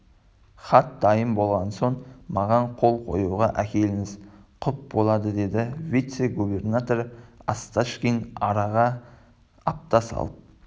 хат дайын болған соң маған қол қоюға әкеліңіз құп болады деді вице-губернатор осташкин араға апта салып